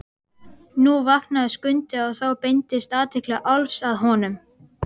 Nú vaknaði Skundi og þá beindist athygli Álfs að honum.